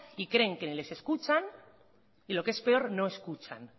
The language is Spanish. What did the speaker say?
y creen que ni les escuchan y lo que es peor no escuchan